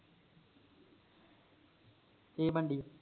ਕੀ ਮੰਡੀ